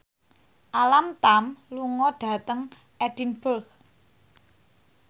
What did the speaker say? Alam Tam lunga dhateng Edinburgh